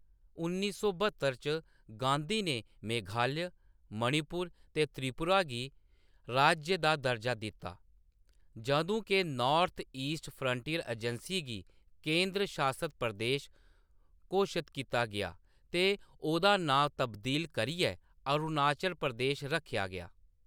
उन्नी सौ ब्हत्तर च, गांधी ने मेघालय, मणिपुर ते त्रिपुरा गी राज्य दा दर्जा दित्ता, जदूं के नार्थ-ईस्ट फ्रंटियर एजैंसी गी केंद्र शासत प्रदेश घोशत कीता गेआ ते ओह्‌‌‌दा नांऽ तब्दील करियै अरुणाचल प्रदेश रक्खेआ गेआ।